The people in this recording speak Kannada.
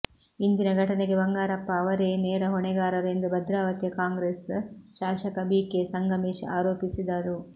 ಇಂದಿನ ಘಟನೆಗೆ ಬಂಗಾರಪ್ಪ ಅವರೇ ನೇರ ಹೊಣೆಗಾರರು ಎಂದು ಭದ್ರಾವತಿಯ ಕಾಂಗ್ರೆಸ್ ಶಾಸಕ ಬಿ ಕೆ ಸಂಗಮೇಶ್ ಆರೋಪಿಸಿದರು